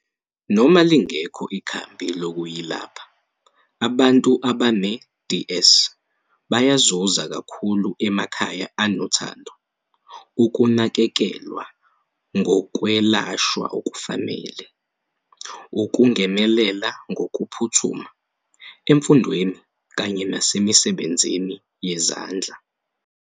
Noma lingekho ikhambi lokuyilapha, abantu abane-DS bayazuza kakhulu emakhaya anothando, ukunakekelwa ngokwelashwa okufanele, ukungenelela ngokuphuthuma, emfundweni kanye nasemisebenzini yezandla.